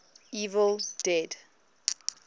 evil dead